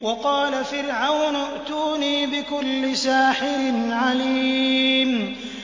وَقَالَ فِرْعَوْنُ ائْتُونِي بِكُلِّ سَاحِرٍ عَلِيمٍ